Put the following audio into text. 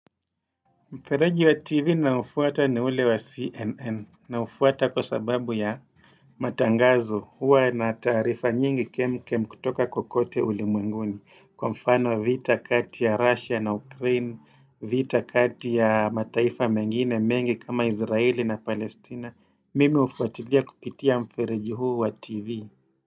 Mfereji wa TV naufuata ni ule wa CNN naufuata kwa sababu ya matangazo huwa na taarifa nyingi kem kem kutoka kokote ulimwenguni kwa mfano vita kati ya Russia na Ukraine, vita kati ya mataifa mengine mengi kama Israeli na Palestina. Mimi hufuatilia kupitia mfereji huu wa TV.